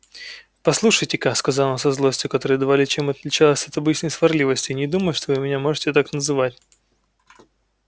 послушайте-ка сказал он со злостью которая едва ли чем отличалась от обычной сварливости не думаю что вы меня можете так называть